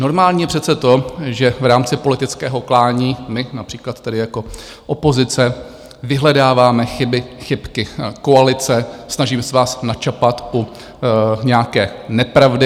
Normální je přece to, že v rámci politického klání my například tady jako opozice vyhledáváme chyby, chybky koalice, snažíme se vás načapat u nějaké nepravdy.